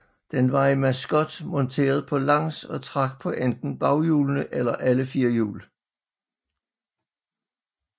Den var i Mascott monteret på langs og trak på enten baghjulene eller alle fire hjul